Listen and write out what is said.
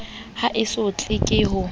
ha e sotlwe ke ho